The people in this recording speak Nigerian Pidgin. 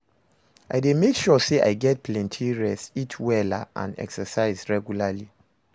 I dey make sure say I get plenty rest, eat wella and exercise regularly.